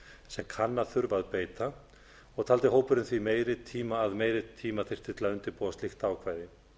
sem kann að þurfa að beita og taldi hópurinn því að meiri tíma þyrfti til að undirbúa slík ákvæði